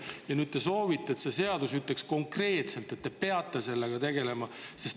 Ja nüüd te soovite, et see seadus ütleks konkreetselt, et te peate sellega tegelema.